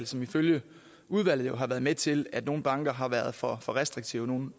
som ifølge udvalget har været med til at nogle banker har været for for restriktive nogle